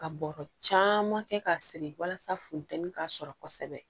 Ka bɔrɔ caman kɛ k'a siri walasa funtɛni ka sɔrɔ kosɛbɛ